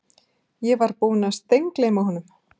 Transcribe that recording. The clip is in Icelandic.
Ég var búinn að steingleyma honum